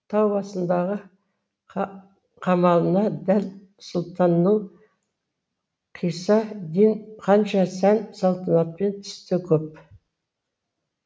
тау басындағы қамалына дәл сұлтанның қисса дин ханша сән салтанатпен түсті көп